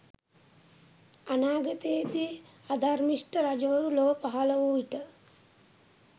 අනාගතයේදී අධර්මිෂ්ට රජවරු ලොව පහල වූ විට